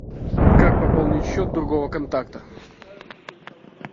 как пополнить счет другого контакта